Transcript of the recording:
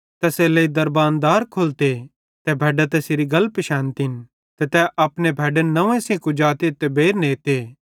तैसेरेलेइ दरबान दार खोलते ते भैड्डां तैसेरी गल पिशैनतिन ते तै अपनी भैड्डन नंव्वे सेइं कुजाते ते बेइर नेते